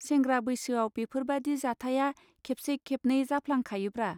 सेंग्रा बैसोआव बेफोरबादि जाथाया खेबसे खेबनै जाफलां खायोब्रा.